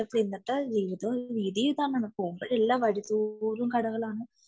ഇന്നത്തെ ജീവിത രീതി ഇതാണ് പോവുമ്പോൾ എല്ലാ വഴി തോറും കടകളാണ്